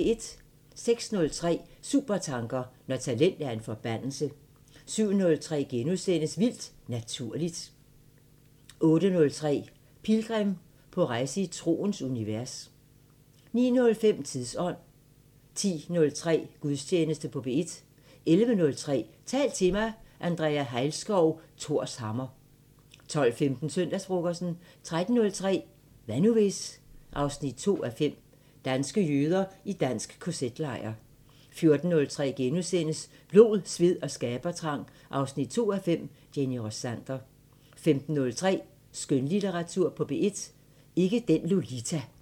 06:03: Supertanker: Når talent er en forbandelse 07:03: Vildt Naturligt * 08:03: Pilgrim – på rejse i troens univers 09:05: Tidsånd 10:03: Gudstjeneste på P1 11:03: Tal til mig – Andrea Hejlskov: Thors hammer 12:15: Søndagsfrokosten 13:03: Hvad nu hvis...? 2:5 – Danske jøder i dansk KZ-lejr 14:03: Blod, sved og skabertrang 2:5 – Jenny Rossander * 15:03: Skønlitteratur på P1: Ikke den Lolita